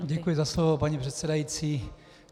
Děkuji za slovo, paní předsedající.